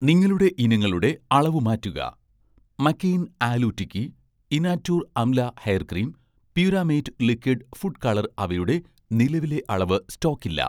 നിങ്ങളുടെ ഇനങ്ങളുടെ അളവ് മാറ്റുക 'McCain' aloo tikki, 'Inatur' amla hair cream, 'Puramate' liquid food colour അവയുടെ നിലവിലെ അളവ് സ്റ്റോക്കില്ല